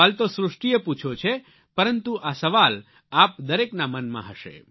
સવાલ તો સૃષ્ટીએ પૂછ્યો છે પરંતુ આ સવાલ આપ દરેકના મનમાં હશે